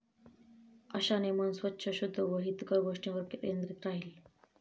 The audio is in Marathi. अशाने मन स्वच्छ, शुद्ध व हितकर गोष्टींवर केंद्रीत राहील.